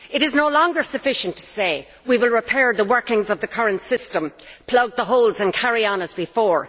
It is no longer sufficient to say we will repair the workings of the current system, plug the holes and carry on as before.